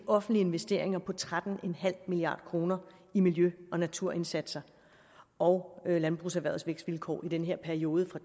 offentlige investeringer på tretten milliard kroner i miljø og naturindsatser og landbrugserhvervets vækstvilkår i den her periode fra